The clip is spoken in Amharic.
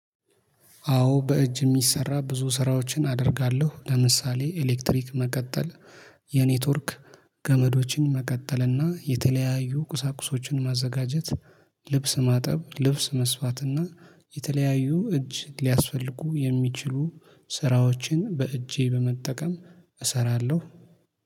አዎ በእጅ የሚሰራ ብዙ ስራዎችን አደርጋለሁ ለምሳሌ ኤሌክትሪክ መቀጠል የኔትወርክ ገመዶችን መቀጠልና የተለያዩ ቁሳቁሶችን ማዘጋጀት ልብስ ማጠብ ልብስ መስፋት እና የተለያዩ እጅ ሊያስፈልጉ የሚችሉ ስራዎችን በእጄ በመጠቀም እሰራለሁ።